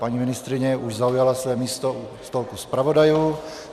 Paní ministryně už zaujala své místo u stolku zpravodajů.